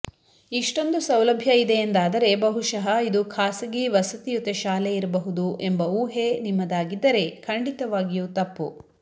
ಇಷ್ಟೊಂದು ಸೌಲಭ್ಯ ಇದೆ ಎಂದಾದರೆ ಬಹುಶಃ ಇದು ಖಾಸಗಿ ವಸತಿಯುತ ಶಾಲೆ ಇರಬಹುದು ಎಂಬ ಊಹೆ ನಿಮ್ಮದಾಗಿದ್ದರೆ ಖಂಡಿತವಾಗಿಯೂ ತಪ್ಪು